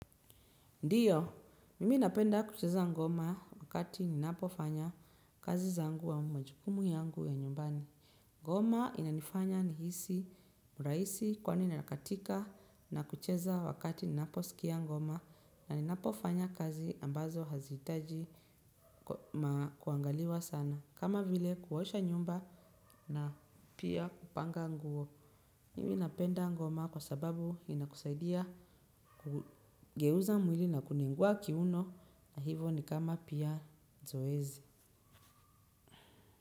Ndiyo, mimi napenda kucheza ngoma wakati ninapofanya kazi zangu au majukumu yangu ya nyumbani. Ngoma inanifanya nihisi mrahisi kwani nakatika na kucheza wakati ninaposikia ngoma na ninapofanya kazi ambazo hazihitaji kuangaliwa sana. Kama vile kuosha nyumba na pia kupanga nguo. Hivi napenda ngoma kwa sababu inakusaidia kugeuza mwili na kunengua kiuno na hivyo ni kama pia zoezi.